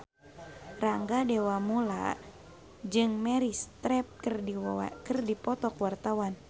Rangga Dewamoela jeung Meryl Streep keur dipoto ku wartawan